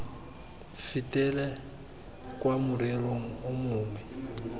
fetele kwa morerong o mongwe